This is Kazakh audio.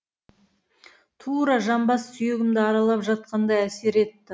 тура жамбас сүйегімді аралап жатқандай әсер етті